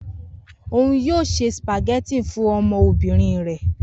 Oun yoo se spaghetti fun ọmọbirin rẹ